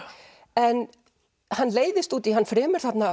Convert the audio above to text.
en hann leiðist út í hann fremur þarna